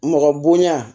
Mɔgɔ bonya